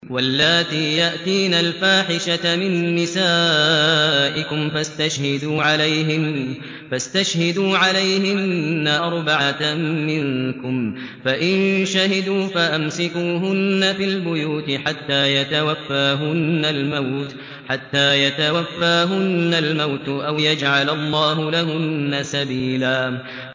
وَاللَّاتِي يَأْتِينَ الْفَاحِشَةَ مِن نِّسَائِكُمْ فَاسْتَشْهِدُوا عَلَيْهِنَّ أَرْبَعَةً مِّنكُمْ ۖ فَإِن شَهِدُوا فَأَمْسِكُوهُنَّ فِي الْبُيُوتِ حَتَّىٰ يَتَوَفَّاهُنَّ الْمَوْتُ أَوْ يَجْعَلَ اللَّهُ لَهُنَّ سَبِيلًا